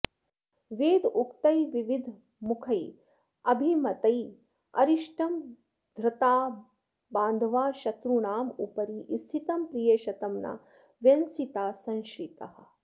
वेदोक्तैर्विविधैर्मखैरभिमतैरिष्टं धृता बान्धवाः शत्रूणामुपरि स्थितं प्रियशतं न व्यंसिताः संश्रिताः